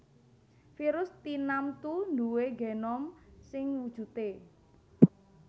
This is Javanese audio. Virus tinamtu nduwé genom sing wujudé